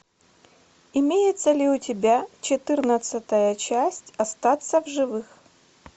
имеется ли у тебя четырнадцатая часть остаться в живых